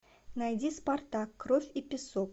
найди спартак кровь и песок